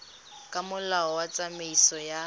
ka molao wa tsamaiso ya